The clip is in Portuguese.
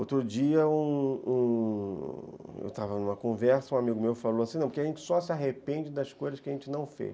Outro dia, um um eu estava numa conversa, um amigo meu falou assim, não, porque a gente só se arrepende das coisas que a gente não fez.